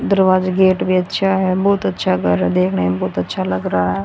दरवाजे गेट भी अच्छा है बहुत अच्छा घर है देखने में बहुत अच्छा लग रहा --